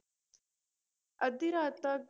ਅੱਧੀ ਰਾਤ ਤੱਕ